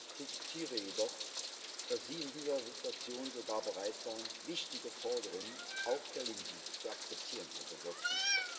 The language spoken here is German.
Ich respektiere jedoch, dass Sie in dieser Situation sogar bereit waren, wichtige Forderungen, auch der Linken, zu akzeptieren, Herr Dombrovskis.